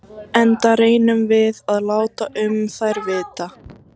Enda reynum við að láta um þær vita.